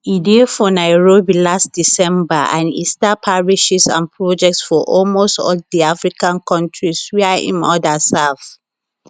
e dey for nairobi last december and e start parishes and projects for almost all di african kontris wia im order serve